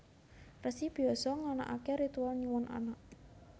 Resi Byasa nganakaké ritual nyuwun anak